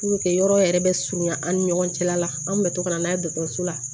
yɔrɔ yɛrɛ bɛ surunya an ni ɲɔgɔn cɛ la la an tun bɛ to ka na n'a ye dɔgɔtɔrɔso la